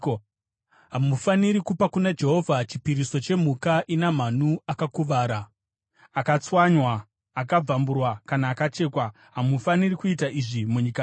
Hamufaniri kupa kuna Jehovha chipiriso chemhuka ina manhu akakuvara, akatswanywa, akabvamburwa kana akachekwa. Hamufaniri kuita izvi munyika menyu.